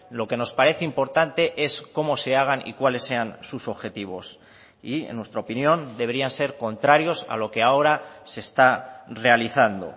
lo que nos parece importante es cómo se hagan y cuáles sean sus objetivos y en nuestra opinión deberían ser contrarios a lo que ahora se está realizando